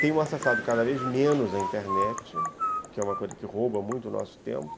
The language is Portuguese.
Tenho acessado cada vez menos a internet, que é uma coisa que rouba muito o nosso tempo.